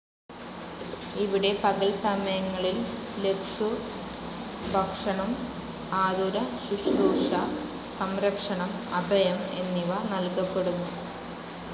ഇവിടെ പകൽ സമയങ്ങളിൽ ലക്ഷുഭക്ഷണം, ആതുരശൂശ്രൂഷ, സംരക്ഷണം, അഭയം എന്നിവ നൽകപ്പെടുന്നു.